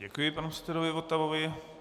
Děkuji panu předsedovi Votavovi.